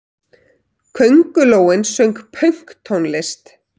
Köngulóin söng pönktónlist!